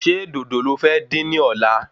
Ṣé dòdò lo fẹ́ dín ní ọ̀la?